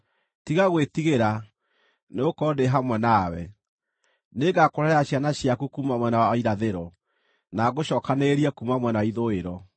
Tiga gwĩtigĩra, nĩgũkorwo ndĩ hamwe nawe; nĩngakũrehere ciana ciaku kuuma mwena wa irathĩro, na ngũcookanĩrĩrie kuuma mwena wa ithũĩro.